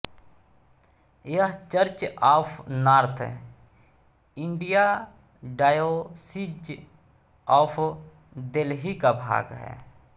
यह Church of North India Diocese of Delhi का भाग है